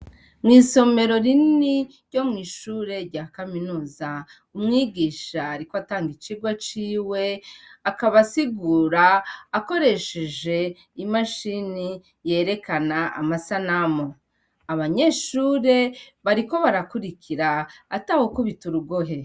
Mw'isomero rinini ryo mw'ishure rya kaminuza umwigisha ariko atanga icigwa ciwe akaba asigura akoresheje imashini yerekana amasanamu, abanyeshure bariko barakurikira atawukubita urugohe.